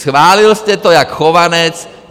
Schválil jste to jako Chovanec.